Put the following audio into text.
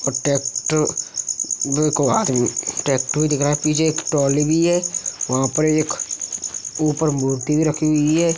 Tractor tractor दिख रहा है पीछे एक ट्रॉली भी है। वहाँ पे एक ऊपर मूर्ति भी रखी हुई है।